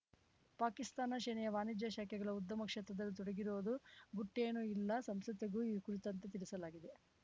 ಪಾಕಿಸ್ತಾನ ಸೇನೆಯ ವಾಣಿಜ್ಯ ಶಾಖೆಗಳು ಉದ್ಯಮ ಕ್ಷೇತ್ರದಲ್ಲಿ ತೊಡಗಿರುವುದು ಗುಟ್ಟೆನು ಇಲ್ಲ ಸಂಸತ್‌ಗೂ ಈ ಕುರಿತಂತೆ ತಿಳಿಸಲಾಗಿದೆ